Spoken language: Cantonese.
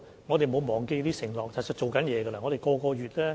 我們沒有忘記這些承諾，其實正在處理中。